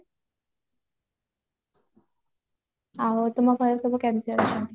ଆଉ ତୁମ ଘରେ ସବୁ କେମତି ଅଛନ୍ତି